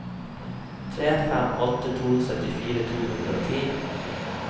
tre fem åtte to syttifire to hundre og ti